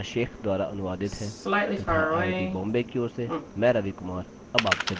यह स्क्रिप्ट सकीना शेख द्वारा अनुवादित है तथा आई आई टी बॉम्बे की ओर से मैं रवि कुमार अब आपसे विदा लेता हूँ